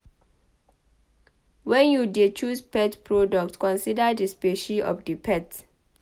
When you dey choose pet product consider di specie of di pet